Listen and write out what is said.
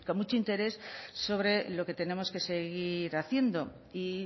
mucho interés sobre lo que tenemos que seguir haciendo y